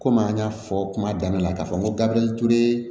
Komi an y'a fɔ kuma daminɛ na k'a fɔ ko gabiriyɛri ture